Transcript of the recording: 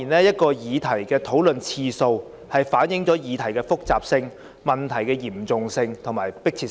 一項議題的討論次數，反映議題的複雜性、嚴重性及迫切性。